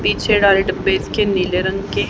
पीछे डाले डब्बे इसके नीले रंग के--